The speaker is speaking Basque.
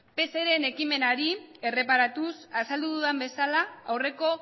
pseren ekimenari erreparatuz azaldu dudan bezala aurreko